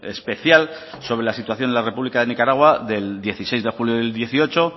especial sobre la situación en la república de nicaragua del dieciséis de julio del dieciocho